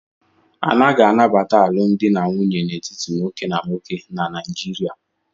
Anaghị anabata alụmdi na nwunye n'etiti nwoke na nwoke na Naịjịrịa.